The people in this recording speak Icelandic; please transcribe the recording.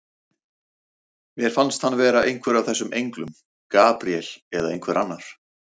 Mér fannst hann vera einhver af þessum englum, Gabríel eða einhver annar.